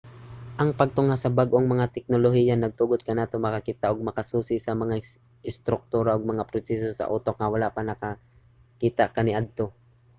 ang pagtungha sa bag-ong mga teknolohiya nagtugot kanato nga makakita ug makasusi sa mga istruktura ug mga proseso sa utok nga wala pa makita kaniadto